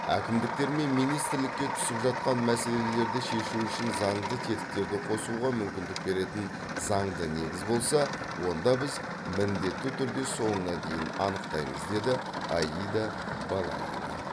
әкімдіктер мен министрлікке түсіп жататын мәселелерді шешу үшін заңды тетіктерді қосуға мүмкіндік беретін заңды негіз болса онда біз міндетті түрде соңына дейін анықтаймыз деді аида балаева